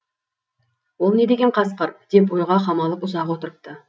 ол не деген қасқыр деп ойға қамалып ұзақ отырыпты